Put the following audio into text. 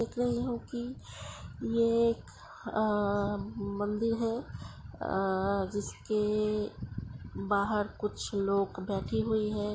देख रही हूँ कि ये एक आ मंदिर हैं आ जिसके बाहर कुछ लोग बैठे हुए हैं।